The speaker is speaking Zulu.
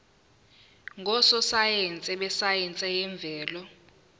ngososayense besayense yemvelo